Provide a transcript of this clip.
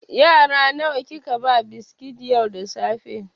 Yara nawa kika ba biskit yau da safe?